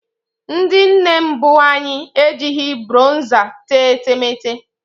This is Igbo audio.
Ndị nne mbụ anyị ejighị bronza tee etemeete